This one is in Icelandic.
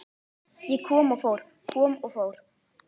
Ég kom og fór, kom og fór.